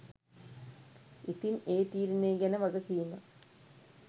ඉතිං ඒ තීරණේ ගැන වගකීම